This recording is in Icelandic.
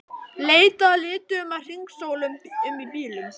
Leitað að lituðum að hringsóla um í bílum.